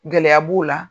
Gɛlɛya b'o la